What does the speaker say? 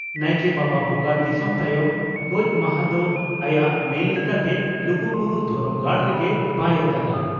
ᱱᱟᱭᱠᱮ ᱵᱟᱵᱟ ᱵᱚᱸᱜᱟ ᱫᱤᱥᱚᱢ ᱛᱟᱭᱚᱢ ᱜᱚᱡ ᱢᱟᱦᱟᱸ ᱫᱚ ᱟᱭᱟᱜ ᱢᱮᱱ ᱞᱮᱠᱟᱛᱮ ᱞᱩᱜᱩᱵᱩᱨᱩ ᱫᱷᱚᱨᱚᱢ ᱜᱟᱲ ᱨᱮᱜᱮ ᱵᱟᱭ ᱟᱠᱟᱫᱼᱟ ᱾